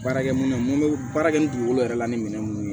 Baarakɛ minɛ mun bɛ baara kɛ ni dugukolo yɛrɛ la ni minɛn minnu ye